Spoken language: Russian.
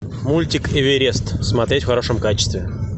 мультик эверест смотреть в хорошем качестве